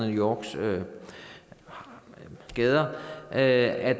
new yorks gader at